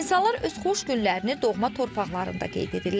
İnsanlar öz xoş günlərini doğma torpaqlarında qeyd edirlər.